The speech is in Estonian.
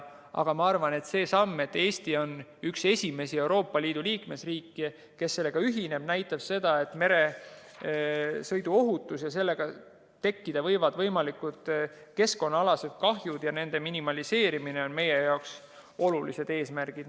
Ma arvan, et see, et Eesti on üks esimesi Euroopa Liidu liikmesriike, kes sellega ühineb, näitab seda, et meresõiduohutus ja tekkida võivad keskkonnaalased kahjud ja nende minimeerimine on meie olulised eesmärgid.